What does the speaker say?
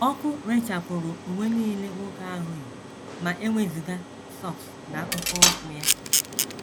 Ọkụ rechapụrụ uwe nile nwoke ahụ yi ma e wezụga sọks na akpụkpọ ụkwụ ya.